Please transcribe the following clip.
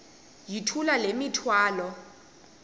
yithula le mithwalo